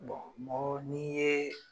mɔgɔ ni ye